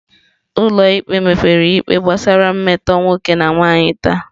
Ụlọ ikpe mepere ikpe gbasara mmetọ nwoke na nwanyị taa.